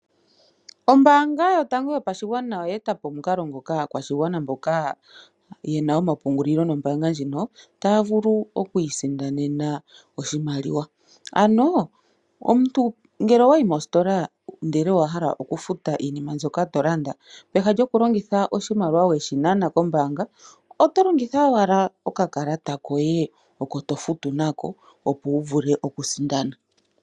Ombaanga yotango yopashigwana oya eta po omukalo ngoka aakwashigwana mboka yena omapungulilo nombaanga ndjino taya vulu okwiisindanena oshimaliwa, ano omuntu ngele owayi mositola ndele owahala oku futa iinima mbyoka to landa, peha lyoku longitha iimaliwa mbyoka weyi nana, oto longitha owala okakalata koye oko tofutu nako, opo wu vule oku sindana.